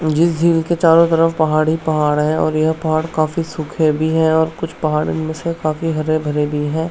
जिस झील के चारो तरफ पहाड़ ही पहाड़ हैं और यह पहाड़ काफी सूखे भी हैं और कुछ पहाड़ इनमे से काफी हरे-भरे भी हैं।